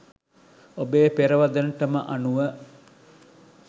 ඔබේ පෙරවදනටම අනුව